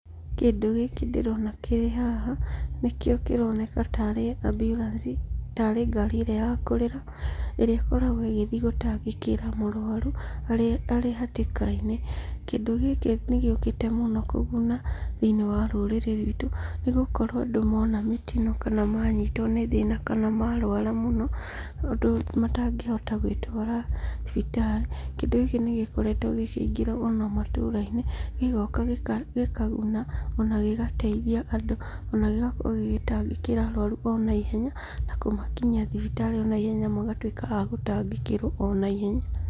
Kĩndũ gĩkĩ ndĩrona kĩrĩ haha, nĩkĩo kĩroneka tarĩ ambulance, tarĩ ngaari ĩrĩa ya kũrĩra, ĩrĩa ĩkoragwo ĩgĩthiĩ gũtangĩkĩra mũrũaru arĩ hatĩkainĩ. Kĩndũ gĩkĩ nĩ gĩũkĩte mũno kũguna thĩinĩ wa rũrĩrĩ rwitũ, nĩ gũkorwo andũ mona mĩtino kana manyitwo nĩ thĩna kana marũara mũno ũndũ matangĩhota gwĩtwara thibitarĩ, kĩndũ gĩkĩ nĩ gĩkoretwo gĩkĩingĩra ona matũrainĩ, gĩgoka gĩkaguna ona gĩgateithia andũ, ona gĩgakorwo gĩgĩtangĩkĩra arũarũ o naihenya, na kũmakinyia thibitarĩ ona ihenya magatuĩka a gũtangĩkĩrwo o naihenya.